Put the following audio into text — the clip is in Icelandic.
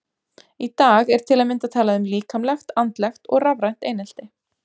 Í dag er til að mynda talað um líkamlegt, andlegt og rafrænt einelti.